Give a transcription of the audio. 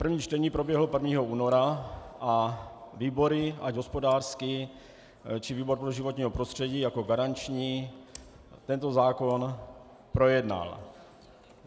První čtení proběhlo 1. února a výbory, ať hospodářský, či výbor pro životní prostředí jako garanční, tento zákon projednal.